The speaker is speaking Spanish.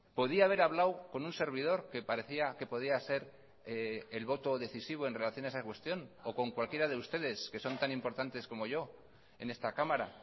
podía haber hablado con un servidor que parecía que podía ser el voto decisivo en relación a esa cuestión o con cualquiera de ustedes que son tan importantes como yo en esta cámara